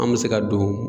An bɛ se ka don